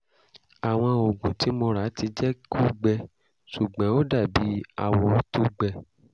àwọn oògùn tí mo ra ti jẹ́ kó gbẹ ṣùgbọ́n ó dàbí awọ tó gbẹ